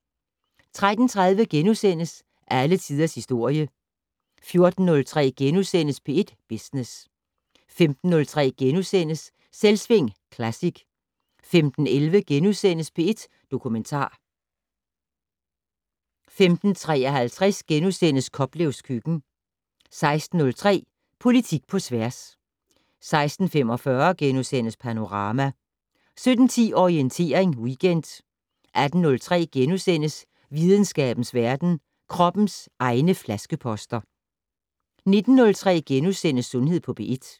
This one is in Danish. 13:30: Alle tiders historie * 14:03: P1 Business * 15:03: Selvsving Classic * 15:11: P1 Dokumentar * 15:53: Koplevs køkken * 16:03: Politik på tværs 16:45: Panorama * 17:10: Orientering Weekend 18:03: Videnskabens verden: Kroppens egne flaskeposter * 19:03: Sundhed på P1 *